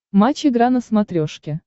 матч игра на смотрешке